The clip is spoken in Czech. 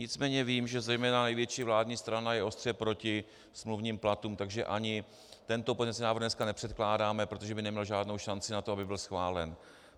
Nicméně vím, že zejména největší vládní strana je ostře proti smluvním platům, takže ani tento pozměňovací návrh dneska nepředkládáme, protože by neměl žádnou šanci na to, aby byl schválen.